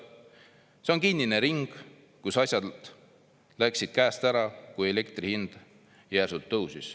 See on kinnine ring, kus asjad läksid käest ära, kui elektri hind järsult tõusis."